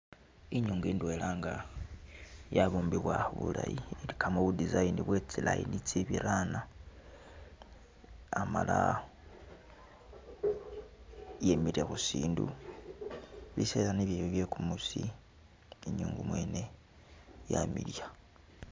Inyungu indwela nga yabumbibwa bulayi, ilikamo bu design bwe tsi line itsibirana, amala yemile khusindu biseela nibyo ebyo bye kumuusi inyungu mwene yamiliya.